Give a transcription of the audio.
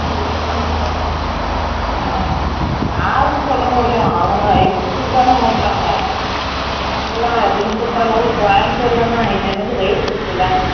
யாருக்கு சொல்ல முடியும் அவங்க இஷ்ட்டதுக்கு தான ஓட்ராங்க, இபொ எல்லம் கொய்ம்பத்தூர் ல எல்லம் இது என்னது race வெச்சு விலயாண்டுட்டு ஓற்றாங்க